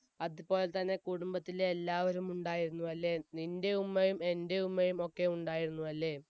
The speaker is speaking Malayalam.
അതുപോലെ തന്നെ കുടുംബത്തിലെ എല്ലാവരും ഉണ്ടായിരുന്നു അല്ലെ നിൻെറ ഉമ്മയും എൻെറ ഉമ്മയും ഒക്കെ ഉണ്ടായിരുന്നു അല്ലെ